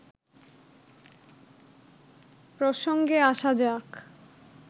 প্রসঙ্গে আসা যাক